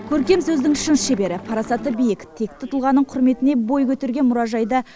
көркем сөздің шын шебері парасаты биік текті тұлғаның құрметіне бой көтерген мұражайды